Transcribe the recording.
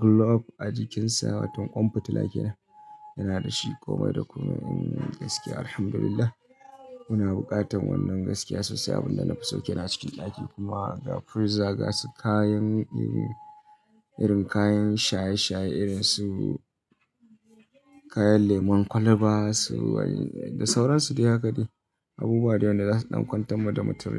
globe a jikinsa. Waton kwan fitila kenan, yana da shi komai da komai. Gaskiya alhamdulillah muna buƙatar wannan gaskiya sosai. Abin da na fi so kenan a cikin ɗaki kuma ga freezer gasu kayan irin kayan shaye-shaye, irin su kayan lemon kwalba su wani da sauransu. Duk haka ne abubuwa da wanda za su ɗan kwantar mu da matarai.